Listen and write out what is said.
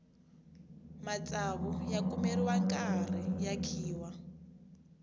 matsavu ya kumeriwa nkarhi ya khiwa